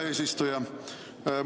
Hea eesistuja!